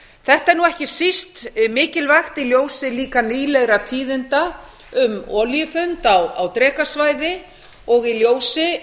þetta er nú ekki síst mikilvægt í ljósi líka nýlegra tíðinda um olíufund á drekasvæði og í ljósi